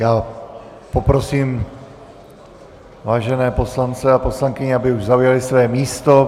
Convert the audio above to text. Já poprosím vážené poslance a poslankyně, aby už zaujali své místo.